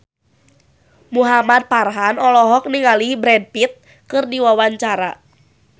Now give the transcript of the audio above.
Muhamad Farhan olohok ningali Brad Pitt keur diwawancara